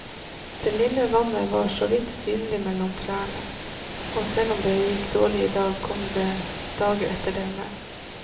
Det lille vannet var såvidt synlig mellom trærne, og selv om det gikk dårlig i dag, kommer det dager etter denne.